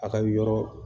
A ka yɔrɔ